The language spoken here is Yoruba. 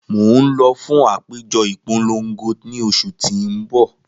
Mo n lọ fun apejọ ipolongo ni oṣu ti n bọ.